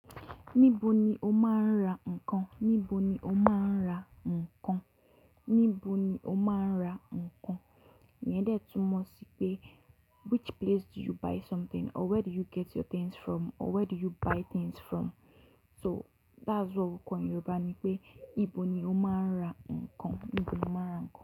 Níbo ni o máa ń ra nǹkan? Níbo ni o máa ń ra nǹkan? Níbo ni o máa ń ra nǹkan? Ìyẹn dẹ tumọ̀ sí pé which place do you buy something? Or where do you get your things from? Or where do you buy things from? So that's what we call in Yoruba ní pé ìbo ni o máa ń ra nǹkan? Níbo ni o máa ń ra.